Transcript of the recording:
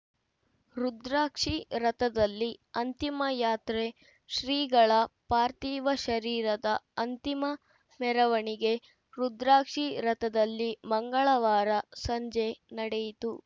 ರುದ್ರಾಕ್ಷಿ ರಥದಲ್ಲಿ ಅಂತಿಮ ಯಾತ್ರೆ ಶ್ರೀಗಳ ಪಾರ್ಥಿವ ಶರೀರದ ಅಂತಿಮ ಮೆರವಣಿಗೆ ರುದ್ರಾಕ್ಷಿ ರಥದಲ್ಲಿ ಮಂಗಳವಾರ ಸಂಜೆ ನಡೆಯಿತು